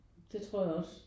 Det tror jeg også